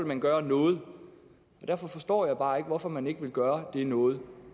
man gøre noget derfor forstår jeg bare ikke hvorfor man ikke vil gøre det noget